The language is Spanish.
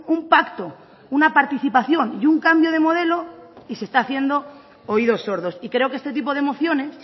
un pacto una participación y un cambio de modelo y se está haciendo oídos sordos y creo que este tipo de mociones